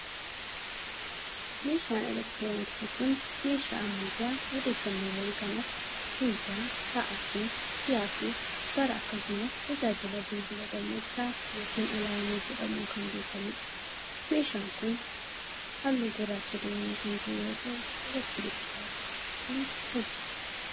Meeshaan elektirooniksii kun, meeshaa ammayyaa odeeffannoowwan kan akka: guyyaa, sa'atii, ji'a fi bara akkasumas tajaajila bilbilaa dammaqsaa yokin alaarmii jedhamuun kan beekamuu dha. Meeshaan kun, haalluu gurraacha dibamee kan jiru yoo ta'u, elektirikii chaarjii godhachuun hojjata.